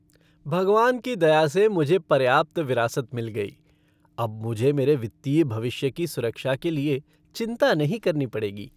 भगवान की दया से मुझे पर्याप्त विरासत मिल गयी। अब मुझे मेरे वित्तीय भविष्य की सुरक्षा के लिए चिंता नहीं करनी पड़ेगी।